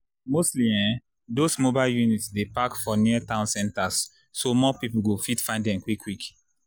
mostly ehnn those mobile units dey park for near town centers so more people go fit find dem quik quik